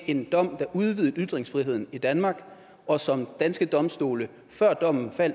en dom der udvidede ytringsfriheden i danmark og som danske domstole før dommen